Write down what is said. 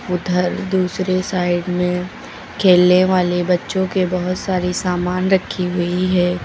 उधर दूसरे साइड में खेलने वाले बच्चों के बहुत सारी सामान रखी हुई है।